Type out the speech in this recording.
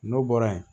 N'o bɔra yen